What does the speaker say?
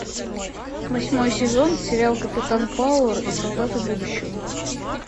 восьмой сезон сериал капитан пауэр и солдаты будущего